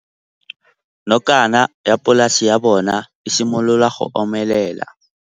Nokana ya polase ya bona, e simolola go omelela.